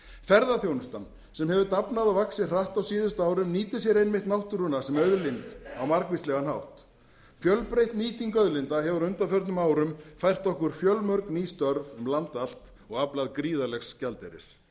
ferðaþjónustan sem hefur vaxið ég dafnað hratt á síðustu árum nýtir sér einmitt náttúruna sem auðlind á margvíslegan hátt fjölbreytt nýting auðlinda hefur á undanförnum árum fært okkur fjölmörg ný störf um land allt og aflað gríðarlegs gjaldeyris